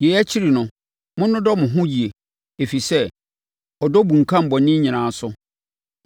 Yei akyi no, monnodɔ mo ho yie ɛfiri sɛ, ɔdɔ bunkam bɔne nyinaa so.